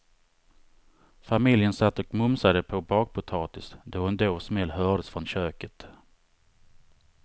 Familjen satt och mumsade på bakpotatis då en dov smäll hördes från köket.